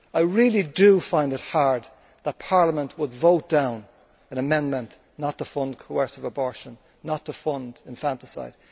I really do find it hard that Parliament would vote down an amendment not to fund coercive abortion, not to fund infanticide.